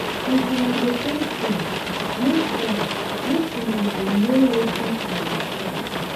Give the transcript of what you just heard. if una dey press phone make phone make una dey no wetin una dey press.